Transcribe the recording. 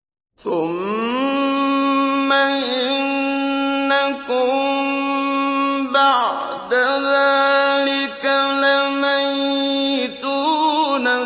ثُمَّ إِنَّكُم بَعْدَ ذَٰلِكَ لَمَيِّتُونَ